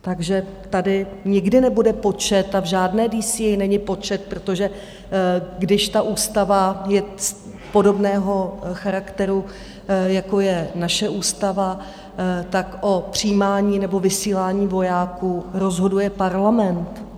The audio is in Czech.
Takže tady nikdy nebude počet a v žádné DCA není počet, protože když ta ústava je podobného charakteru, jako je naše ústava, tak o přijímání nebo vysílání vojáků rozhoduje Parlament.